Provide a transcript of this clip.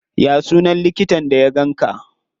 Ya sunan likitan da ya ganka?